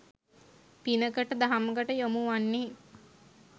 පිනකට දහමකට යොමු වන්නේ